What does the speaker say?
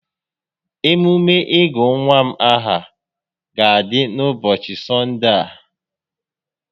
Emume ịgụ nwa m aha ga-adị n'ụbọchị S6onde a